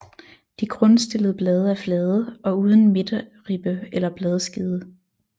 De grundstillede blade er flade og uden midterribbe eller bladskede